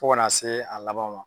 Fo ka n'a se a laban ma.